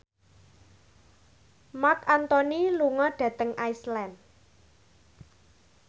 Marc Anthony lunga dhateng Iceland